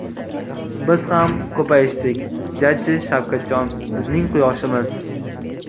Biz ham ko‘payishdik jajji Shavkatjon, bizning quyoshimiz.